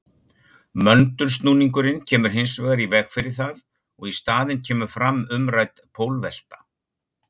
Möndulsnúningurinn kemur hins vegar í veg fyrir það og í staðinn kemur fram umrædd pólvelta.